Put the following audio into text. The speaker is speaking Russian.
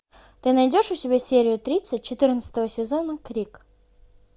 ты найдешь у себя серию тридцать четырнадцатого сезона крик